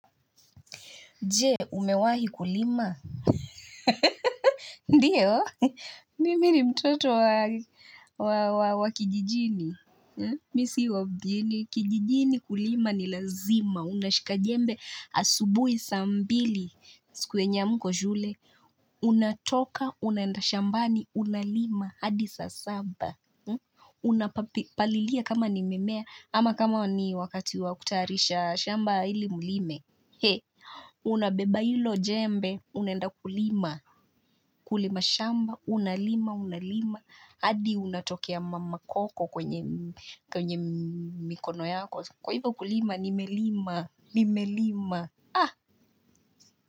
Je, umewahi kulima. Ndiyo, nimi ni mtoto wa kijijini. Mimi si wa mjini. Kijijini kulima ni lazima. Unashika jembe asubuhi sambili. Siku enye hamko shule. Unatoka, unaenda shambani, unalima, hadi saa saba. Unapalilia kama ni mimea, ama kama ni wakati wakutaarisha shamba ili mlime. Hee, unabeba hilo jembe, unaenda kulima, kulima shamba, unalima, unalima, hadi unatokea makoko kwenye mikono yako. Kwa hivyo kulima, nimelima, nimelima.